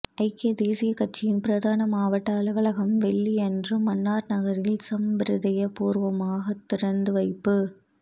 ஐக்கிய தேசிய கட்சியின் பிரதான மாவட்ட அலுவலகம் வெள்ளியன்று மன்னார் நகரில் சம்பிரதாய பூர்வமாக திறந்து வைப்பு